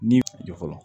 Ni jɔ fɔlɔ